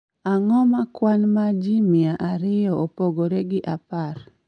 Ang�o ma kwan ma ji mia ariyo opogore gi apar?